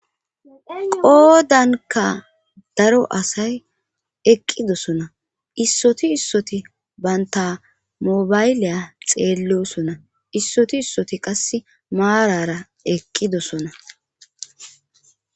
Qoodanka daro asay eqqidosona issoti issoti bayntamobayliya xeellosona issoti issoti qass maarara eqqidosona